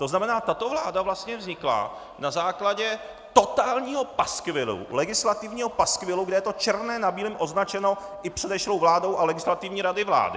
To znamená, tato vláda vlastně vznikla na základě totálního paskvilu, legislativního paskvilu, kde je to černé na bílém označeno i předešlou vládou a Legislativní radou vlády.